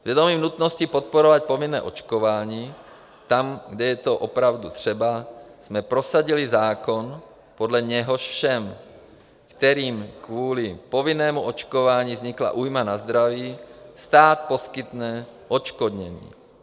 S vědomím nutnosti podporovat povinné očkování tam, kde je to opravdu třeba, jsme prosadili zákon, podle něhož všem, kterým kvůli povinnému očkování vznikla újma na zdraví, stát poskytne odškodnění.